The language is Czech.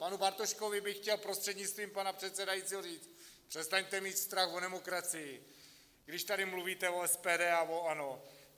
Panu Bartoškovi bych chtěl, prostřednictvím pana předsedajícího, říct: přestaňte mít strach o demokracii, když tady mluvíte o SPD a o ANO.